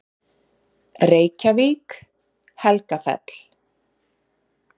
Reykjavík, Helgafell.